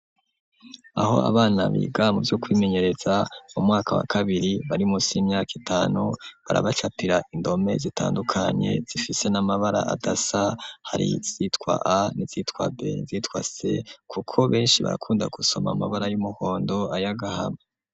Aho abana biga muvyo kwimenyereza mu mwaka wa kabiri barimusi imyaka itanu barabacatira indome zitandukanye zifise n'amabara adasa hari zitwa a n'izitwa b n'izitwa s kuko benshi barakunda gusoma amabara y'umuhondo ayagahama.